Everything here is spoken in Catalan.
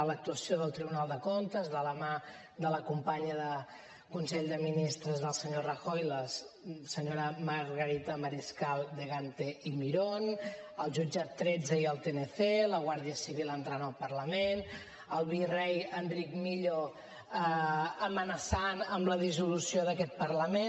l’actuació del tribunal de comptes de la mà de la companya del consell de ministres del senyor rajoy la senyora margarita mariscal de gante y mirón el jutjat tretze i el tnc la guàrdia civil entrant al parlament el virrei enric millo amenaçant amb la dissolució d’aquest parlament